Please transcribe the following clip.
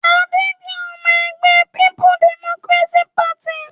Adé jẹ́ ọmọ-ẹgbẹ́ Peoples Democratic Party.